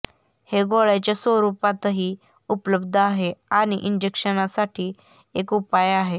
हे गोळ्याच्या स्वरूपातही उपलब्ध आहे आणि इंजेक्शनसाठी एक उपाय आहे